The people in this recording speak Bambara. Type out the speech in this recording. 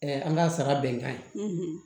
an ka sara bɛnkan ye